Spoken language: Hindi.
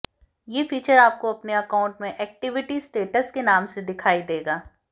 ये फीचर आपको अपने अकाउंट में एक्टिविटी स्टेट्स के नाम से दिखाई देगा